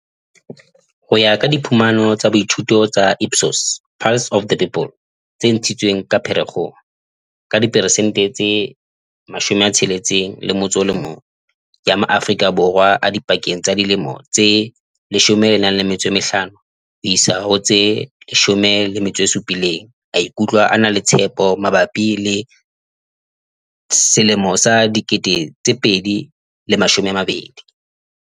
Ho ya ka diphumano tsa boithuto tsa Ipsos Pulse of the People tse ntshitsweng ka Pherekgong, ka diperesente tse 61 ya ma-Aforika Borwa a dipakeng tsa dilemo tse 15 ho isa ho tse 17 a ikutlwa a na le tshepo mabapi le 2020.